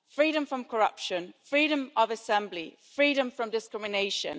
Freedom from corruption, freedom of assembly, freedom from discrimination.